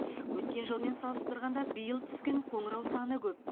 өткен жылмен салыстырғанда биыл түскен қоңырау саны көп